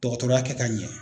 Tɔgɔtɔya kɛ ka ɲɛ.